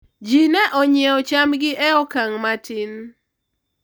ji ne onyiewo chambgi e okang' matin